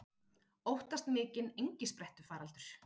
Óttast mikinn engisprettufaraldur